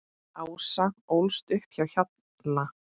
Ása ólst upp á Hjalla.